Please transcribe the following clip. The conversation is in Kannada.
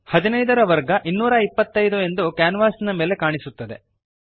15 225 15 ರ ವರ್ಗ 225 ಎಂದು ಕ್ಯಾನ್ವಾಸಿನ ಮೇಲೆ ಕಾಣಿಸುತ್ತದೆ